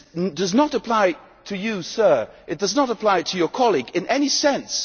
This does not apply to you, Sir it does not apply to your colleague in any sense.